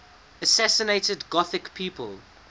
assassinated gothic people